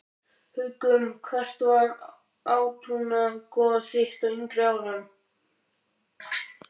Haukum Hvert var átrúnaðargoð þitt á yngri árum?